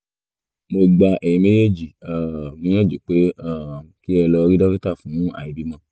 mo gba ẹ̀yin méjèèjì um níyànjú pé um kí ẹ lọ rí dókítà fún àìbímọ